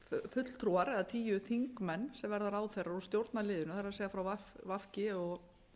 fulltrúar eða tíu þingmenn sem verða ráðherrar úr stjórnarliðinu það er frá v g og